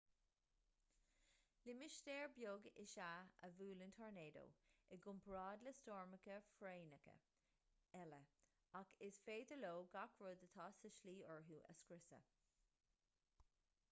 limistéar beag is ea a bhuaileann tornádó i gcomparáid le stoirmeacha foréigneacha eile ach is féidir leo gach rud atá sa tslí orthu a scriosadh